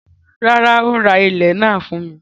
Rárá, ó ra ilẹ̀ náà fún mi.